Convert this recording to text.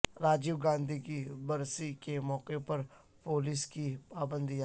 راجیو گاندھی کی برسی کے موقع پر پولیس کی پابندیاں